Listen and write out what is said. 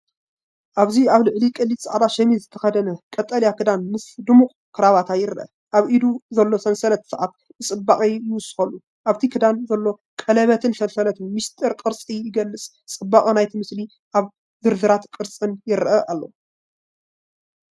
ኣብዚ ኣብ ልዕሊ ቀሊል ጻዕዳ ሸሚዝ ዝተኸድነ ቀጠልያ ክዳን ምስ ድሙቕ ክራቫታ ይርአ። ኣብ ኢዱ ዘሎ ሰንሰለት ሰዓት ንጽባቐ ይውስኸሉ፤ ኣብቲ ክዳን ዘሎ ቀለቤትን ሰንሰለትን ምስጢር ቅርጺ ይገልጽ። ጽባቐ ናይቲ ምስሊ ኣብ ዝርዝራትን ቅርጽን ይርአ ኣሎ።